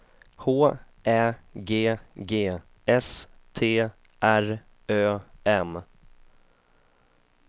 H Ä G G S T R Ö M